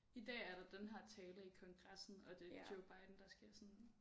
I dag er der den her tale i Kongressen og det er Joe Biden der skal sådan